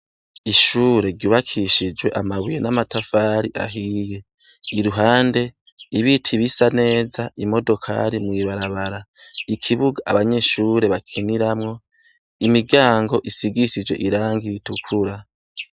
Ishure ryubakishije amabuye n'amatafari ahiye. Iruhande ibiti bisa neza, imodokari mw'ibarabara. Ikibuga abanyeshure bakiniramwo, imiryango isigishije irangi ritukura.